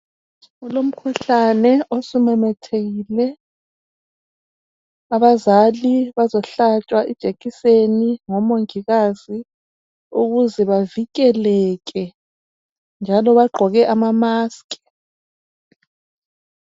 Kulomkhuhlane osumemethekile. Abazali bazohlatshwa ijekiseni ngomongikazi ukuze bavikeleke njalo bagqoke ama mask.